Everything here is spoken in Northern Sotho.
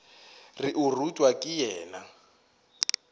re o rutwa ke yena